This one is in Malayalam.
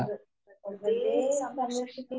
പ്രകൃ...പ്രകൃതിയെ സംരക്ഷിക്കുക